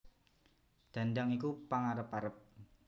Dhandhang iku pengarep arep